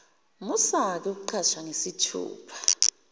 musake ukucasha ngesithupha